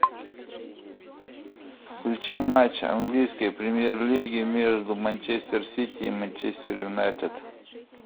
включи матч английской премьер лиги между манчестер сити и манчестер юнайтед